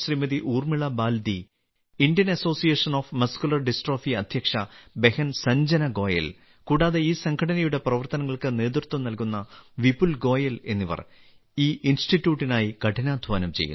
Urmila Baldi Indian Association of Muscular Dystrophy അദ്ധ്യക്ഷ ബഹൻ സഞ്ജന ഗോയൽ കൂടാതെ ഈ സംഘടനയുടെ പ്രവർത്തനങ്ങൾക്ക് നേതൃത്വം നൽകുന്ന വിപുൽ ഗോയൽ എന്നിവർ ഈ ഇൻസ്റ്റിറ്റ്യൂട്ടിനായി കഠിനാധ്വാനം ചെയ്യുന്നു